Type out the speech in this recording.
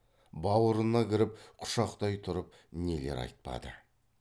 баурына кіріп құшақтай тұрып нелер айтпады